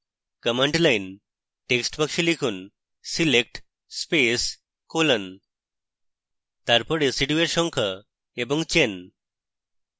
command line text box লিখুন select space colon তারপর residue এর সংখ্যা এবং chain